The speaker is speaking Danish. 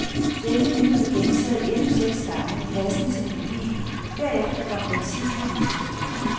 Denne linie blev gentaget endnu seks gange, passende til melodien, derefter kom den sidste linie.